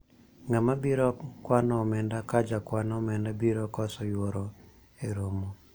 ng'ama biro kwano omenda ka jakwan omenda biro koso yuoro e romo